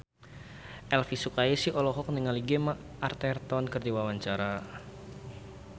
Elvy Sukaesih olohok ningali Gemma Arterton keur diwawancara